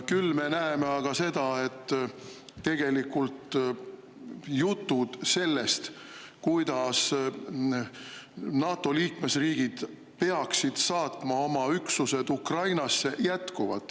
Küll me näeme aga seda, et jätkuvad jutud sellest, kuidas NATO liikmesriigid peaksid saatma oma üksuseid Ukrainasse.